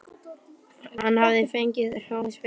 Hann hafði fengið hrós fyrir þær.